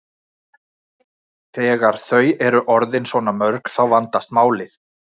Þegar þau eru orðin svona mörg þá vandast málið.